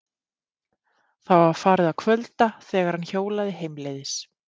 Það var farið að kvölda þegar hann hjólaði heimleiðis.